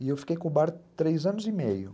E eu fiquei com o bar três anos e meio.